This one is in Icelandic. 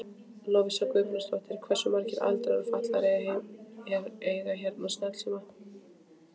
Lovísa Guðbrandsdóttir: Hversu margir aldraðir og fatlaðir eiga hérna snjallsíma?